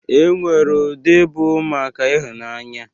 E nwere ụdị bụ maka ịhụnanya.